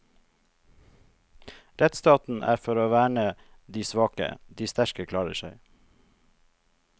Rettsstaten er for å verne dei veike, dei sterke klarer seg.